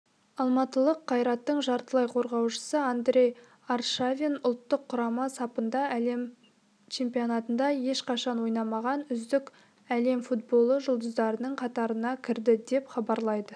алматылық кайраттың жартылай қорғаушысы андрей аршавин ұлттық құрама сапында әлем чемпионатында ешқашан ойнамаған үздік әлем футболы жұлдыздарының қатарына кірді деп хабарлайды